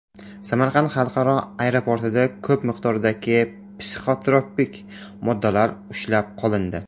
Samarqand xalqaro aeroportida ko‘p miqdordagi psixotrop moddalar ushlab qolindi.